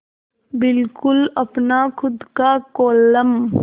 बिल्कुल अपना खु़द का कोलम